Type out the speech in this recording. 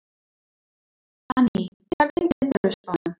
Anný, hvernig er veðurspáin?